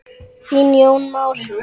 Þinn Jón Már.